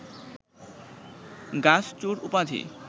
গাছ চোর উপাধি